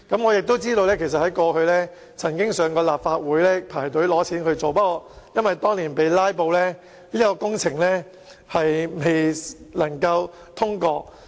我也知道當局曾向立法會申請撥款進行改善工程，但因為當年受"拉布"影響，以致工程未獲通過。